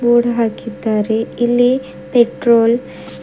board ಹಾಕಿದ್ದಾರೆ ಇಲ್ಲಿ petrol --